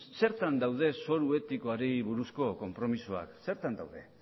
zertan daude zoru etikoari buruzko konpromisoak zertan daude